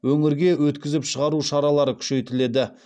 өңірге өткізіп шығару шаралары күшейтіледі